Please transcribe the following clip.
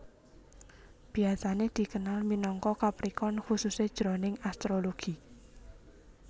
Biasané dikenal minangka Capricorn khususé jroning astrologi